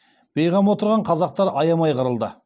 бейғам отырған қазақтар аямай қырылды